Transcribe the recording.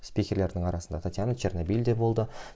скиперлердің арасында татьяна чернобельде болды